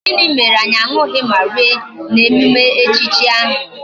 Gini mere anyi añughi ma rie na emume echichi ahi.